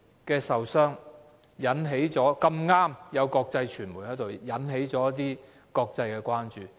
事發時剛巧有國際傳媒在場，事件於是引起國際關注。